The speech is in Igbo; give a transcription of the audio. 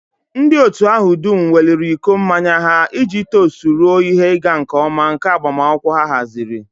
Ndị otu ahụ dum weliri iko mmanya ha iji tost ruo ihe ịga nke ọma nke agbamakwụkwọ ha haziri